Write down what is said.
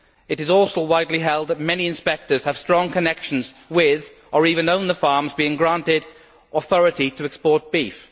It is also widely held that many inspectors have strong connections with, or even own, the farms being granted authority to export beef.